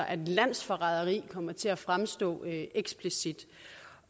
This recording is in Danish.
at landsforræderi kommer til at fremstå eksplicit